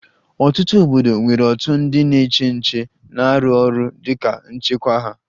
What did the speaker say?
Ọtụtụ obodo nwere òtù ndị na-eche nche na-arụ ọrụ dị ka nchekwa ha